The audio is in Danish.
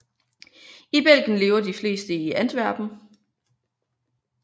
I Belgien lever de fleste i Antwerpen